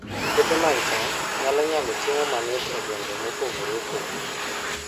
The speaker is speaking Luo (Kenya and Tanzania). Puothe mag cham nyalo nyago chiemo matin e gwenge mopogore opogore